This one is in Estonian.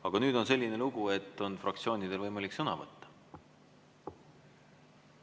Aga nüüd on selline lugu, et fraktsioonidel on võimalik sõna võtta.